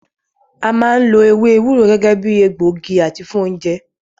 A máa ń lo ewé ewúro gẹ́gẹ́ bíi egbògi àti fún oúnjẹ.